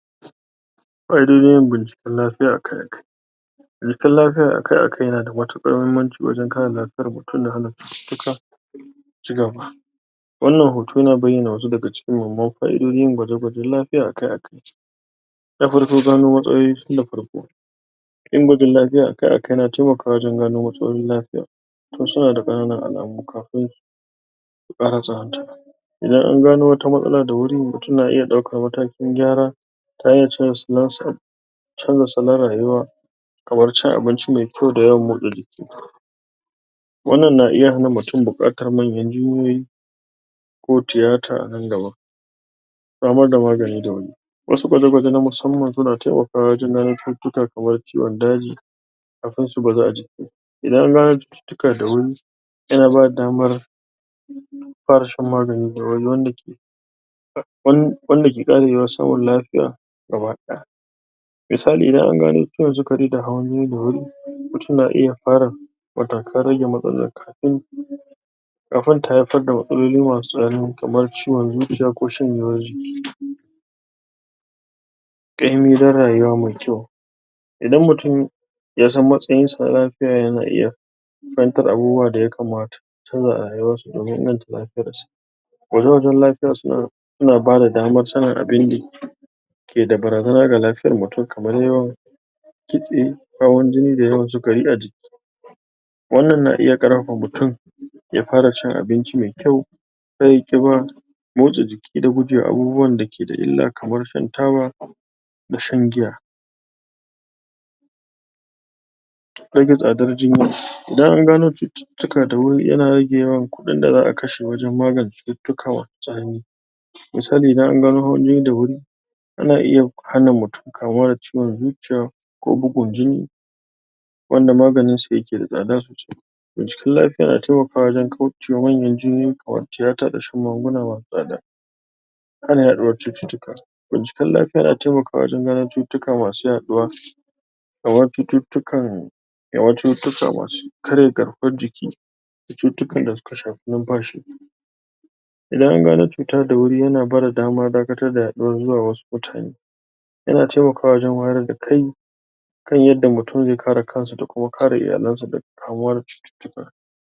Fa'idodin yin binciken lafiya akai-akai Binciken lafiya akai-akai yana da mutuƙar muhimmanci wajen kare lafiyar mutum da hana cututtuka su cigaba wannan hoto yana bayyana wasu daga cikin muhimman fa'idojin yin gwaje-gwajen lafiya akai-akai Na farko, gano matsaloli tun da farko yin gwajin lafiya akai-akai yana taimakawa wajen gano matsalolin lafiya tun suna da ƙananan alamu kafin su ƙara tsananta Idan an gano wata matsala da wuri, mutum zai iya ɗaukan matakin gyara ta hanyar canja salon sa canja salon rayuwa kamar cin abinci mai kyau da yawan motsa jiki wannan na iya hana mutum buƙatar manyan jinyoyi ko tiyata a nan gaba. Samar da magani da wuri. Wasu gwaje-gwaje na musamman suna taimakawa wajen ganin cututtuka kamar ciwon daji, kafin su bazu a jiki Idan an gano cututtuka da wuri yana bada damar fara shan magani da wuri, wanda ke wan? wanda ke ƙara yiwuwar samun lafiya gaba ɗaya Misali, idan an gano ciwon sukari da hawan jini da wuri mutum na iya fara matakan rage matsalar kaɗai? kafin ta haifar da matsaloli masu tsanani kamar ciwon zuciya ko shanyewar jiki ƙaimi na rayuwa mai kyau. idan mutum yasan matsayinsa na lafiya, yana iya fahimtar abubuwa da ya kamata su canja a rayuwarsu domin inganta lafiyarsa gwaje-gwajen lafiya suna suna bada damar sanin abinda ke da barazana ga lafiyar mutum, kamar yawan kitse hawan jini da yawan sukari a jiki wannan na iya ƙarfafa mutum ya fara cin abinci mai kyau kar yayi ƙiba motsa jiki da gujewa abubuwan da ke da illa, kamar shan taba da shan giya Rage tsadar jinya. Idan an gano cututtuka da wuri yana rage yawan kuɗin da za'a kashe wajen magance cututtuka masu tsanani misali idan an gano hawan jini da wuri ana iya hana mutum kamuwa da ciwon zuciya ko bugun jini wanda maganinsa yake da tsada Binciken lafiya yana taimakawa waje kaucewa manyan jinyoyi kamar tiyata da shan magunguna masu tsada Hana yaɗuwar cututtuka. Binciken lafiya yan taimakawa wajen gano cututtuka masu yaɗuwa kamar cututtukan kamar cututtuka masu karya garkuwar jiki da cutukan da suka shafi numfashi idan an gano cuta da wuri, yana bada dama dakatar da yaɗuwar zuwa wasu mutane yana taimakawa wajen wayar da kai kan yadda mutum zai kare kansa da kuma kare iyalansa daga kamuwa da cututtuka